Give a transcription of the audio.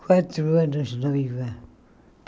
Quatro anos noiva.